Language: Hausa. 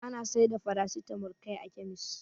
Ana saida farasitamo kai a kemis.